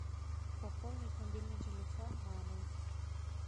пополнить мобильный телефон мамы